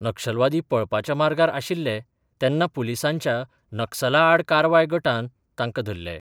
नक्षलवादी पळपाच्या मार्गार आशिल्ले तेन्ना पुलिसांच्या नक्सला आड कारवाय गटान तांकां धरले.